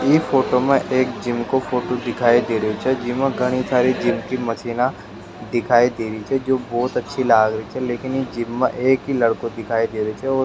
ई फोटो मा एक जिम को फोटो दिखाई दे रियो छे जिमा घनी सारी जिम की मशीना दिखाई दे रही छे जो बहोत अच्छी लाग रही छे लेकिन इ जिम में एक ही लड़को दिखाई दे रियो छे ओ --